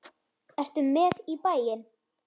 Ertu með í bæinn?